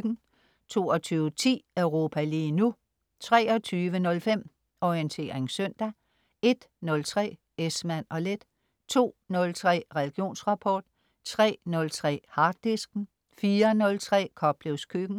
22.10 Europa lige nu* 23.05 Orientering søndag* 01.03 Esmann & Leth* 02.03 Religionsrapport* 03.03 Harddisken* 04.03 Koplevs Køkken*